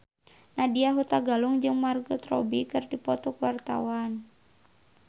Nadya Hutagalung jeung Margot Robbie keur dipoto ku wartawan